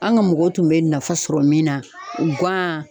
An ka mɔgɔw tun bɛ nafa sɔrɔ min na , gan.